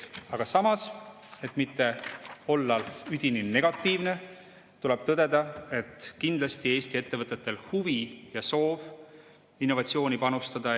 Aga samas, et mitte olla üdini negatiivne, tuleb tõdeda, et kindlasti on Eesti ettevõtetel huvi ja soov innovatsiooni panustada.